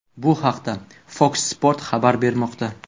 Bu haqda Fox Sports xabar bermoqda .